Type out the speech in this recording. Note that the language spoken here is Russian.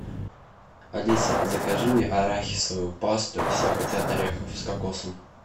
алиса закажи мне арахисовую пасту все хотят орехов с кокосом